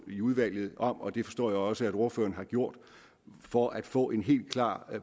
i udvalget og det forstår jeg også at ordføreren har gjort for at få en helt klar